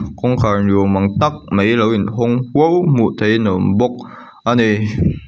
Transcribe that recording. kawngkhâr ni âwm ang tak mai lo inhawng huau hmuh theihin a awm bawk a ni.